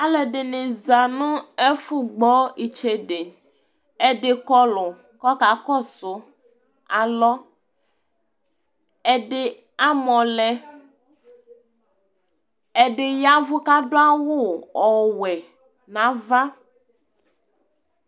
Alɛdɩnɩ za nʊ ɛfʊ gbɔ ɩtsede edɩ kɔlʊ kɔkakɔsʊ alɔ ɛdɩ amɔlɛ ɛdɩ yavʊ kadʊ'awʊ ɔwɛ n'ava